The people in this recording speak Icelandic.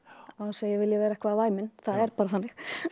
án þess að ég vilji vera eitthvað væmin það er bara þannig